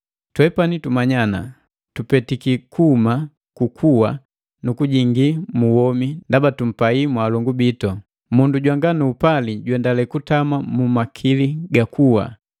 Twepani tumanya ana, tupetiki kuhuma ku kuwa nu kujingii mu womi ndaba tumpai mwaalongu bitu. Mundu jwanga nu upali juendale kutama mu makili ga kuwa.